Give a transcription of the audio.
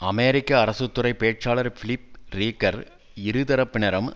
அமெரிக்க அரசு துறை பேச்சாளர் பிலிப் ரீக்கர் இருதரப்பினரும்